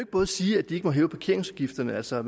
både sige at de ikke må hæve parkeringsafgifterne altså